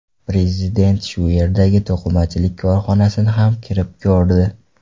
Prezident shu yerdagi to‘qimachilik korxonasini ham kirib ko‘rdi.